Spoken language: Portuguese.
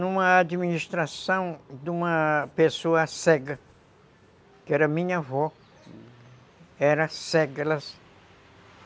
numa administração de uma pessoa cega, que era minha avó, era cega, ela